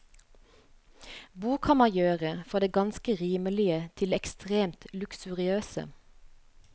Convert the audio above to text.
Bo kan man gjøre fra det ganske rimelige til det ekstremt luksuriøse.